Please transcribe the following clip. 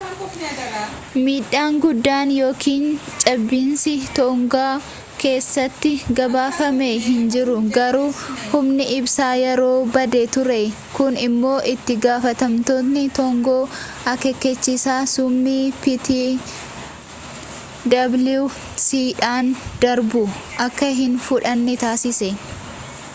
miidhaan guddaan yookiin cabiinsi toongaa keessatti gabaafame hin jiru garuu humni ibsaa yeroof badee ture kun immoo itti gaafatamtootni toongaa akeekachiisa suunamii ptwc dhaan darbu akka hin fudhanne taasise